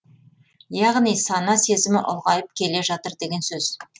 яғни сана сезімі ұлғайып келе жатыр деген сөз